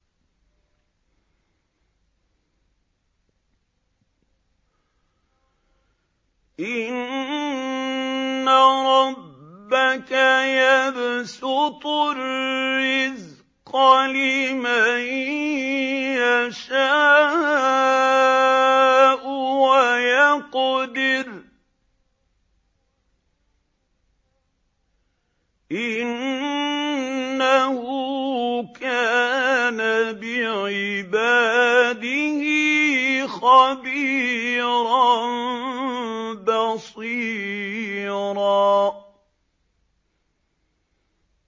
إِنَّ رَبَّكَ يَبْسُطُ الرِّزْقَ لِمَن يَشَاءُ وَيَقْدِرُ ۚ إِنَّهُ كَانَ بِعِبَادِهِ خَبِيرًا بَصِيرًا